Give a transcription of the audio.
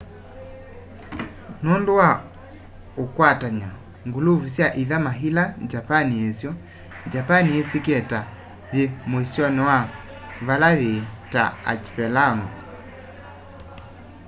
nundu wa ukwatany'a/nguluvu sya ithama ila japani yisyo japani yisikie ta yi muisyoni wa vala yii ta archipelago